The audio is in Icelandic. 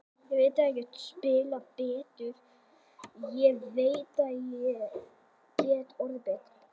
Ég veit að ég get spilað betur, ég veit að ég get orðið betri.